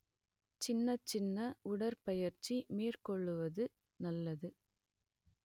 சின்னச் சின்ன உடற்பயிற்சி மேற்கொள்ளுவது நல்லது